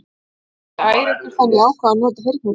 Ég vildi ekki æra ykkur þannig að ég ákvað að nota heyrnartólin.